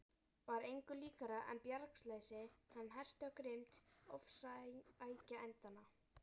Var engu líkara en bjargarleysi hans herti á grimmd ofsækjendanna.